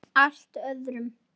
Allt öðrum.